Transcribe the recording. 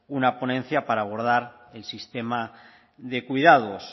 una ponencia para abordar el sistema de cuidados